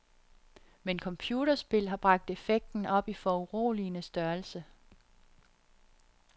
Men computerspil har bragt effekten op i foruroligende størrelse.